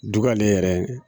Dugalen yɛrɛ